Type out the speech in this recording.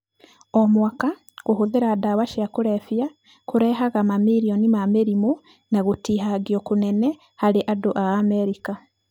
O mwaka kũhũthĩra ndawa cia kũrebia kũrehaga mamirioni ma mĩrimũ na gũtihangio kũnene harĩ andũ a Amerika.